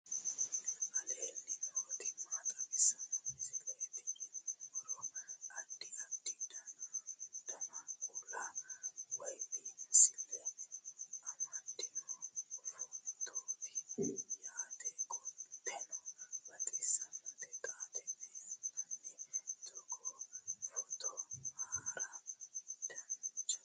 aleenni nooti maa xawisanno misileeti yinummoro addi addi dananna kuula woy biinsille amaddino footooti yaate qoltenno baxissannote xa tenne yannanni togoo footo haara danvchate